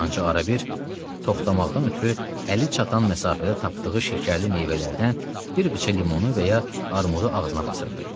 Ancaq ara bir toxtamaqdan ötrü əli çatan məsafədə tapdığı şəkərli meyvələrdən bir qıça limonu və ya armudu ağzına basırdı.